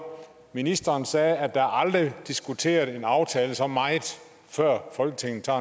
ministeren sagde at der aldrig diskuteret en aftale så meget før folketinget har